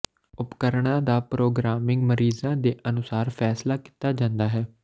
ਉਪਕਰਣਾਂ ਦਾ ਪ੍ਰੋਗਰਾਮਿੰਗ ਮਰੀਜ਼ਾਂ ਦੇ ਅਨੁਸਾਰ ਫੈਸਲਾ ਕੀਤਾ ਜਾਂਦਾ ਹੈ